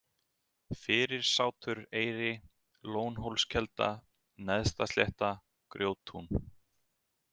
Fyrirsáturseyri, Lónhólskelda, Neðstaslétta, Grjóttún